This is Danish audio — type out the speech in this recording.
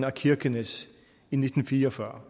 af kirkenes i nitten fire og fyrre